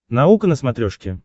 наука на смотрешке